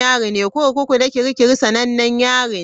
Kurkuku na Kirikiri sanannen yari ne.